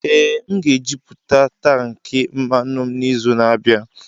Ee, m ga-ejupụta tankị mmanụ m n'izu na-abịa.